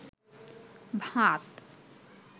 ভাত